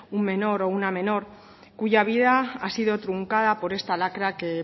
un menor o una menor cuya vida ha sido truncada por esta lacra que